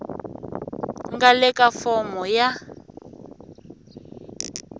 nga le ka fomo ya